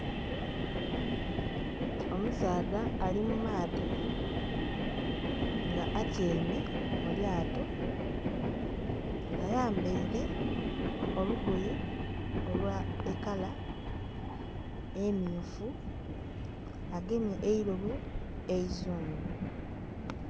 Omusaadha ali mu maadhi nga atyaime mu lyato, ayambaire olugoye olw'ekala emmyufu agemye eirobo eizungu.